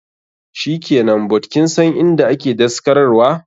Shikenan, but kinsan inda ake daskarar wa?